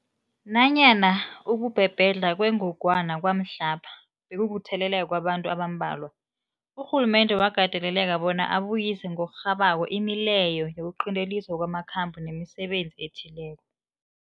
Nanyana ukubhebhedlha kwengogwana kwamhlapha bekukutheleleka kwabantu abambalwa, urhulumende wakateleleka bona abuyise ngokurhabako imileyo yokuqinteliswa kwamakhambo nemisebenzi ethileko.